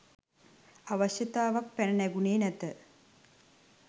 අවශ්‍යතාවක් පැන නැඟුණේ නැත